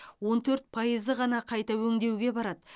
он төрт пайызы ғана қайта өңдеуге барады